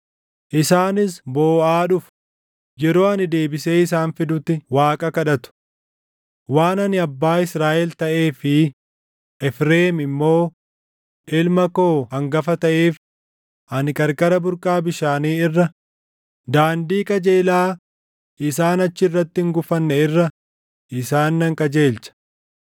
Isaanis booʼaa dhufu; yeroo ani deebisee isaan fidutti Waaqa kadhatu. Waan ani abbaa Israaʼel taʼee fi Efreem immoo ilma koo hangafa taʼeef, ani qarqara burqaa bishaanii irra, daandii qajeelaa isaan achi irratti hin gufanne irra isaan nan qajeelcha.